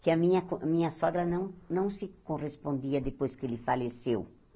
que a minha co a minha sogra não não se correspondia depois que ele faleceu.